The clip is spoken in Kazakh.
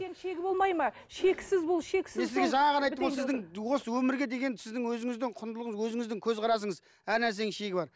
шегі болмайды ма шексіз бұл шексіз мен сізге жаңа ғана айттым ғой сіздің осы өмірге деген сіздің өзіңіздің құндылығыңыз өзіңіздің көзқарасыңыз әр нәрсенің шегі бар